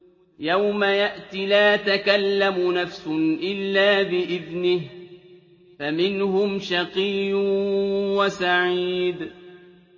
يَوْمَ يَأْتِ لَا تَكَلَّمُ نَفْسٌ إِلَّا بِإِذْنِهِ ۚ فَمِنْهُمْ شَقِيٌّ وَسَعِيدٌ